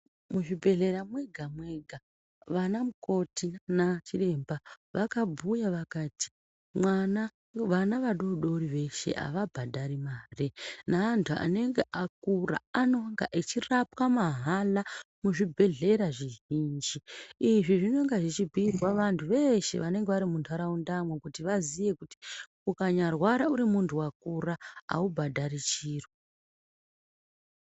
Mu zvibhehlera mwega mwega vana mukoti na chiremba vaka bhuya vakati mwana vana va dodori veshe ava bhadhari mare na antu anenge akura anonga echi rapwa mahala mu zvibhedhlera zvizhinji izvi zvinonga zvichi bhiirwa vantu veshe vanenge vari mu ndaraunda mo kuti vaziye kuti ukanya rwara uri muntu akura aubhadhari chiro.